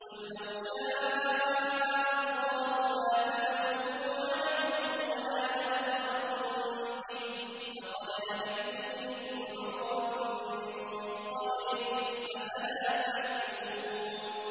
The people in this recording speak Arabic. قُل لَّوْ شَاءَ اللَّهُ مَا تَلَوْتُهُ عَلَيْكُمْ وَلَا أَدْرَاكُم بِهِ ۖ فَقَدْ لَبِثْتُ فِيكُمْ عُمُرًا مِّن قَبْلِهِ ۚ أَفَلَا تَعْقِلُونَ